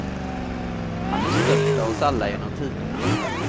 Han är störst av oss alla, genom tiderna.